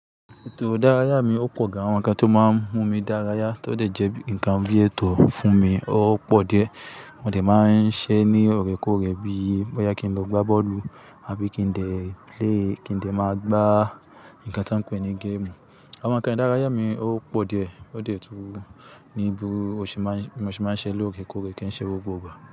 Ètò ìdárayá mi ò pọ̀ gán àwọn ǹkan tó máa ń mú mi dárayá, tọ́dẹ̀ jẹ́ ǹkan bí ètò fún mi, ó pọ̀ díẹ̀. Mo dẹ̀ máa ń ṣe ní ọ̀rèkórè bíi ó yẹ kí n lọ gbá bọ́ọ̀lù àbí kí ń dẹ̀ play kí ń dẹ̀ máa gbá ǹkan tí wọ́n ń pè ní géèmù. Àwọn ǹkan ìdárayá mi ó pọ̀ díẹ̀, ó dẹ̀ tú ní bí mo ṣe máa ń ṣe lóòrèkóòrè kí ń ṣe gbogbo ìgbà.